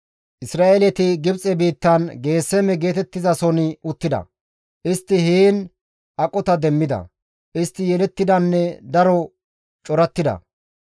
Isra7eeleti Gibxe biittan Geeseme geetettizason uttida; istti heen aqota demmida; istti yelettidanne daro corattida.